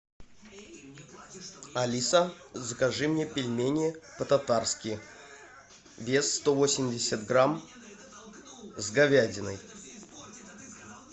алиса закажи мне пельмени по татарски вес сто восемьдесят грамм с говядиной